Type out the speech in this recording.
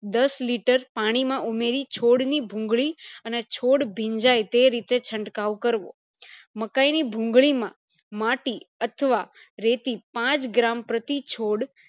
દસ liter પાણી માં ઉમેરી છોડ માં ભૂંગળી અને છોડ ભીંજાય તેરીતે છડ્કાવ કરવો મકાય ની ભૂંગળી માં માટી અથવા રેતી પાંચ gram પ્રતિ છોડ